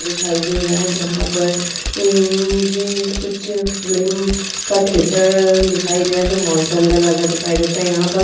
दिखाई दे रहा है जहाँ पर ए ये कुछ फिलीम का थिएटर दिखाई दे रहा है जो मॉल के अंदर लगा दिखाई देता है। यहाँ पर --